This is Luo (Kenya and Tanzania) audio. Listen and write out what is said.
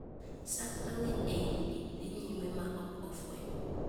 Sand mang'eny ei udi dhii nyime ma ok ofweny.